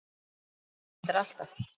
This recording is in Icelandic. Hún sagði það reyndar alltaf.